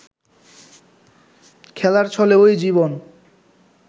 খেলার ছলে ওই জীবন